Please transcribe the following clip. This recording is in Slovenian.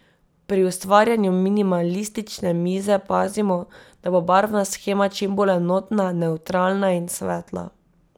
Pri ustvarjanju minimalistične mize pazimo, da bo barvna shema čim bolj enotna, nevtralna in svetla.